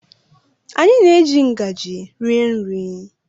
Anyị na-eji ngaji rie nri.